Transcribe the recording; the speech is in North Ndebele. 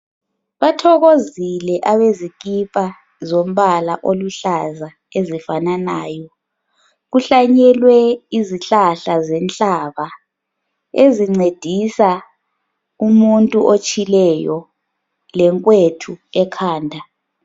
Bathokozile abezikipa zombala oluhlaza ezifananayo kuhlanyelwe izihlahla zenhlaba ezincedisa umuntu otshileyo lenkwethu ekhanda